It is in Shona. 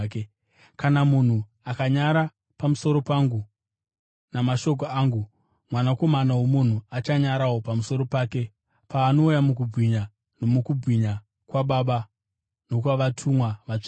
Kana munhu akanyara pamusoro pangu namashoko angu, Mwanakomana woMunhu achanyarawo pamusoro pake paanouya mukubwinya nomukubwinya kwaBaba nokwavatumwa vatsvene.